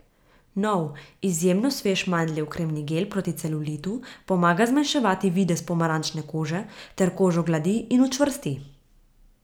Nov, izjemno svež Mandljev kremni gel proti celulitu pomaga zmanjševati videz pomarančne kože ter kožo gladi in učvrsti.